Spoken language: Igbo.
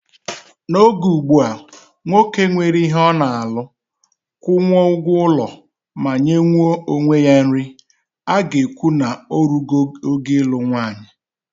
N'oge ugbua, nwoke nwere ihe ọ na-alụ, kwụnwuo ụgwọ ụlọ ma nyenwuo onwe ya nri, a ga-ekwu na o rugo oge ịlụ nwanyị.